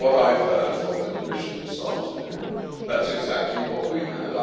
From what I have heard from the Commission this afternoon, that is exactly what we have.